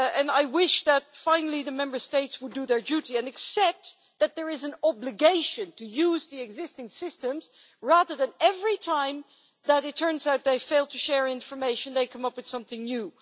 I wish that the Member States would finally do their duty and accept that there is an obligation to use the existing systems rather than, every time it turns out they failed to share information, coming up with something new.